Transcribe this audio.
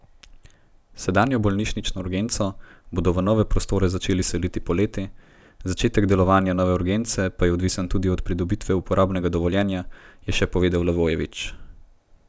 Sedanjo bolnišnično urgenco bodo v nove prostore začeli seliti poleti, začetek delovanja nove urgence pa je odvisen tudi od pridobitve uporabnega dovoljenja, je še povedal Levojević.